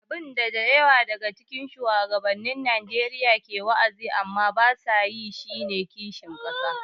Abin da da yawa daga cikin shugabannin Najeriya ke wa’azi amma ba sa yi shi ne kishin ƙasa.